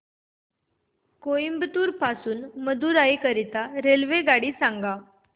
कोइंबतूर पासून मदुराई करीता रेल्वेगाडी सांगा